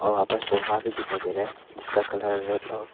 वहां पर सोफा भी दिखाई दे रहा है जिसका कलर रेड और--